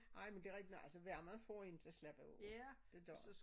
Ej men det rigtigt nej altså varme for én til at slappe af det gør